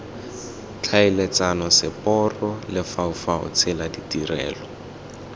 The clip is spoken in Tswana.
tlhaeletsano seporo lefaufau tsela ditirelo